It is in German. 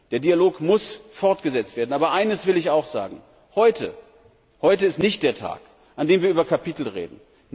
Der Dialog muss fortgesetzt werden. Aber eines will ich auch sagen Heute ist nicht der Tag, an dem wir über Kapitel reden.